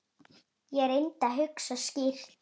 Ég reyndi að hugsa skýrt.